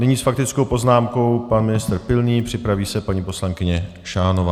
Nyní s faktickou poznámkou pan ministr Pilný, připraví se paní poslankyně Šánová.